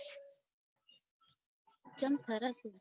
ચમ થરા શું